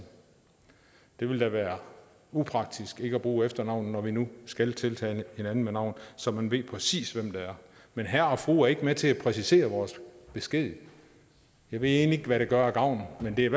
det ville da være upraktisk ikke at bruge efternavnet når vi nu skal tiltale hinanden med navn så man ved præcis hvem det er men herre og fru er ikke med til at præcisere vores besked jeg ved egentlig ikke hvad det gør af gavn men det er